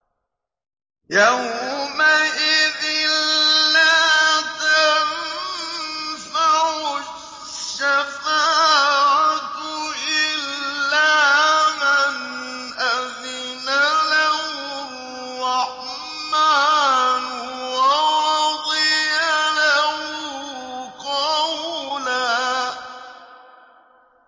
يَوْمَئِذٍ لَّا تَنفَعُ الشَّفَاعَةُ إِلَّا مَنْ أَذِنَ لَهُ الرَّحْمَٰنُ وَرَضِيَ لَهُ قَوْلًا